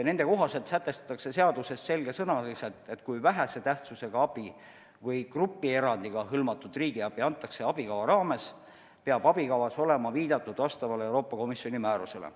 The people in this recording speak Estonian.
Nende kohaselt sätestatakse seaduses selgesõnaliselt, et kui vähese tähtsusega abi või grupierandiga hõlmatud riigiabi antakse abikava raames, peab abikavas olema viidatud vastavale Euroopa Komisjoni määrusele.